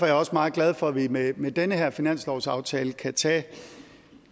jeg også meget glad for at vi med med den her finanslovsaftale kan tage